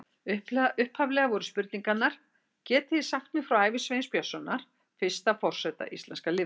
Upphaflega voru spurningarnar: Getið þið sagt mér frá ævi Sveins Björnssonar, fyrsta forseta íslenska lýðveldisins?